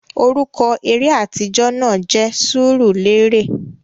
Orúkọ eré atijọ náà jẹ Sùùrulérè